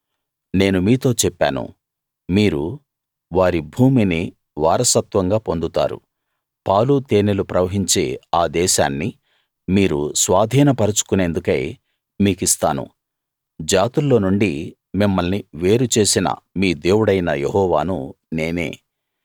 నేను మీతో చెప్పాను మీరు వారి భూమిని వారసత్వంగా పొందుతారు పాలు తేనెలు ప్రవహించే ఆ దేశాన్ని మీరు స్వాధీన పరచుకునేందుకై మీకిస్తాను జాతుల్లో నుండి మిమ్మల్ని వేరు చేసిన మీ దేవుడైన యెహోవాను నేనే